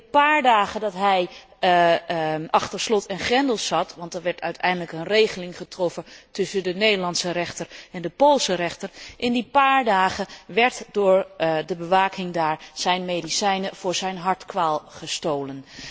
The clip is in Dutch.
In de paar dagen dat hij achter slot en grendel zat want er werd uiteindelijk een regeling getroffen tussen de Nederlandse rechter en de Poolse rechter in die paar dagen werden door de bewaking daar zijn medicijnen voor zijn hartkwaal gestolen.